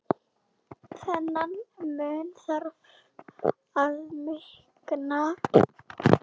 Þennan mun þarf að minnka.